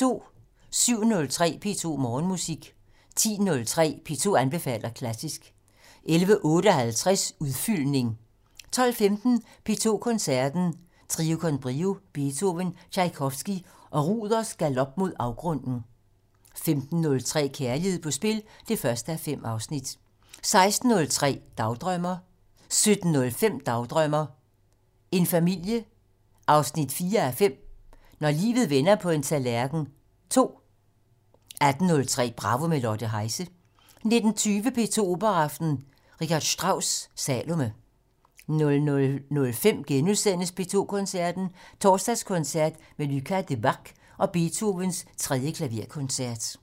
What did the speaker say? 07:03: P2 Morgenmusik 10:03: P2 anbefaler klassisk 11:58: Udfyldning 12:15: P2 Koncerten - Trio con Brio, Beethoven, Tjajkovskij og Ruders galop mod afgrunden 15:03: Kærlighed på spil 1:5 16:03: Dagdrømmer 17:05: Dagdrømmer: En familie 4:5 - Når livet vender på en tallerken 2 18:03: Bravo - med Lotte Heise 19:20: P2 Operaaften - R. Strauss: Salome 00:05: P2 Koncerten - Torsdagskoncert med Lucas Debargue og Beethovens 3. klaverkoncert *